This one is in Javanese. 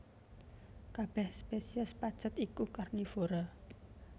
Kabèh spesies pacet iku karnivora